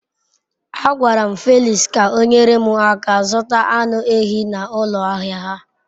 A gwaram Felix ka onyere m aka zuta anu ehi n'ulo ahia ha